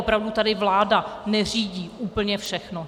Opravdu tady vláda neřídí úplně všechno.